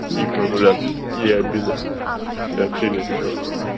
и прогуляться какие обиды я вообще не обижаюсь